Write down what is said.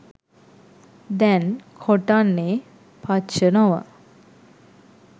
දැන් කොටන්නේ පච්ච නො ව